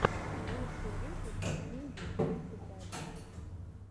лучший выпуск винди тридцать один